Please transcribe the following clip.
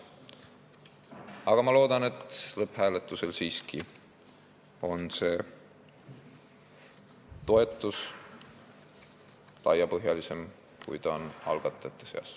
Aga ma loodan, et lõpphääletusel on toetus siiski laiapõhjalisem, kui see on algatajate seas.